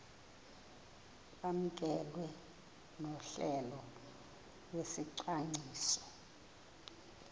kwamkelwe nohlelo lwesicwangciso